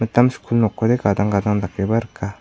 skul nokode gadang gadang dakeba rika.